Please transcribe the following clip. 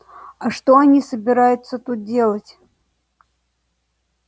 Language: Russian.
а что они собираются тут делать